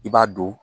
I b'a don